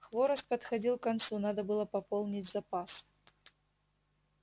хворост подходил к концу надо было пополнить запас